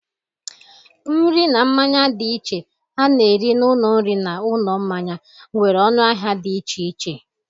Nri na mmanya dị iche a na-ere n'ụlọ nri na n'ụlọ mmanya nwere ọnụ ahịa dị iche iche.